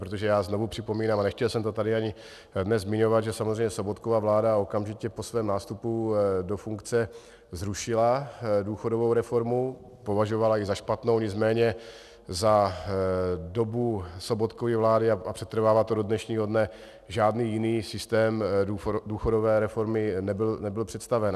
Protože já znovu připomínám, a nechtěl jsem to tady ani dnes zmiňovat, že samozřejmě Sobotkova vláda okamžitě po svém nástupu do funkce zrušila důchodovou reformu, považovala ji za špatnou, nicméně za dobu Sobotkovy vlády, a přetrvává to do dnešního dne, žádný jiný systém důchodové reformy nebyl představen.